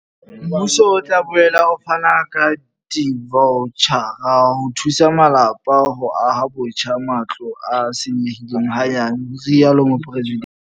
Mmuso o tla boela o fana ka divaotjhara ho thusa malapa ho aha botjha matlo a senyehileng hanyane, ho rialo Mopresidente.